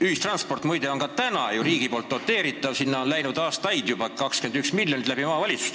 Ühistransporti, muide, ka praegu riik ju doteerib, sinna on läinud aastaid juba 21 miljonit omavalitsuste kaudu.